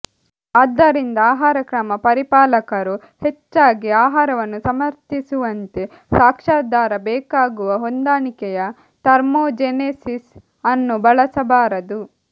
ಆದ್ದರಿಂದ ಆಹಾರಕ್ರಮ ಪರಿಪಾಲಕರು ಹೆಚ್ಚಾಗಿ ಆಹಾರವನ್ನು ಸಮರ್ಥಿಸುವಂತೆ ಸಾಕ್ಷ್ಯಾಧಾರ ಬೇಕಾಗುವ ಹೊಂದಾಣಿಕೆಯ ಥರ್ಮೋಜೆನೆಸಿಸ್ ಅನ್ನು ಬಳಸಬಾರದು